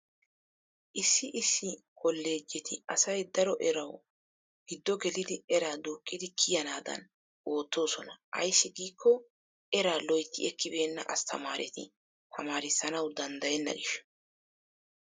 Issi issi kolloojjeti asay daro erawu giddo gelidi eraa duuqqidi kiyanaadan oottoosona. Ayssi giikko eraa loytti ekkibeenna asttamaareti tamaarissnawu danddayenna gishshawu.